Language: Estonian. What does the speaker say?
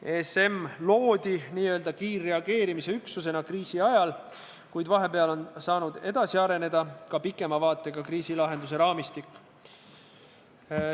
ESM loodi n-ö kiirreageerimisüksusena kriisi ajal, kuid vahepeal on saanud edasi areneda ka pikema vaatega kriisilahenduse raamistik.